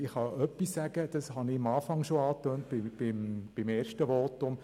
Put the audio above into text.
Ich kann etwas sagen, dies habe ich am Anfang bei meinem ersten Votum schon angedeutet.